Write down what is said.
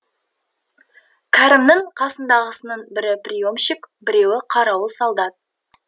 кәрімнің қасындағысының бірі приемщик бірі қарауыл солдат